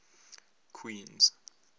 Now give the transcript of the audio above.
queens